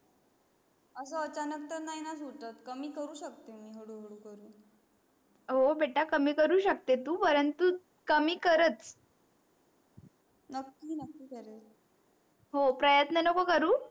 अस अचानक तर नाही णा सुटत कमी करू शकते हळू हळू करून हो बेटा कमी करू शकते तू परंतु कमी करच नक्की नक्की करेल हो प्रयत्न नको करू